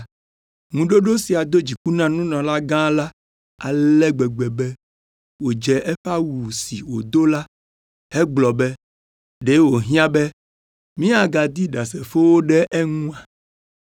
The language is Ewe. Ŋuɖoɖo sia do dziku na nunɔlagã la ale gbegbe be wòdze eƒe awu si wòdo la hegblɔ be, “Ɖe wòhiã be míagadi ɖasefowo ɖe eŋua?